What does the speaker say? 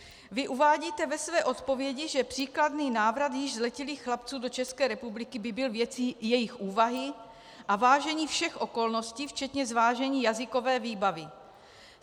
Vy uvádíte ve své odpovědi, že příkladný návrat již zletilých chlapců do České republiky by byl věcí jejich úvahy a vážení všech okolností včetně zvážení jazykové výbavy.